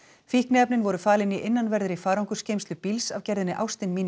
fíkniefnin voru falin í innanverðri farangursgeymslu bíls af gerðinni